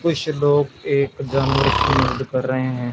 कुछ लोग एक जानवर की मदद कर रहे हैं।